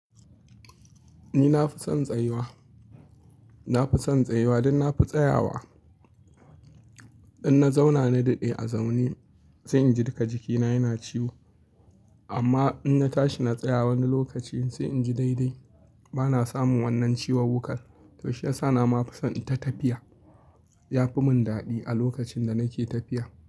Ni na fi son tsayuwa. Na fi son tsayuwa dan na fi tsayawa. In na zauna na daɗe a zaune sai in ji duka jikina yana ciwo. Amma in na tashi na tsaya wani lokaci sai in ji daidai. Ba na samun wannan ciwon wukar. To shiyasa ma na fi son ita tafiya. Ya fi mun daɗi a lokacin da nake tafiya.